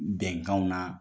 Bɛnkanw na